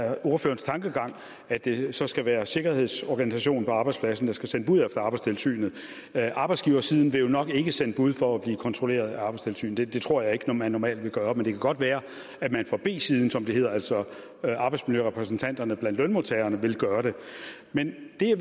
er ordførerens tankegang at det så skal være sikkerhedsorganisationen på arbejdspladsen der skal sende bud efter arbejdstilsynet arbejdsgiversiden vil jo nok ikke sende bud for at blive kontrolleret af arbejdstilsynet det tror jeg ikke at man normalt vil gøre men det kan godt være at man fra b siden som det hedder altså arbejdsmiljørepræsentanterne blandt lønmodtagerne vil gøre det men det jeg